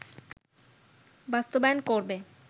বাস্তবায়ন করবে